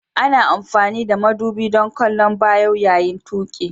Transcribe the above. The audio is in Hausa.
Ana amfani da madubi don kallon baya yayin tuƙi.